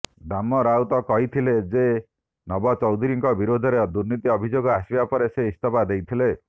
ଦାମ ରାଉତ କହିଥିଲେ ଯେ ନବକୃଷ୍ଣ ଚୌଧୁରୀଙ୍କ ବିରୋଧରେ ଦୁର୍ନୀତି ଅଭିଯୋଗ ଆସିବା ପରେ ସେ ଇସ୍ତଫା ଦେଇଥିଲେ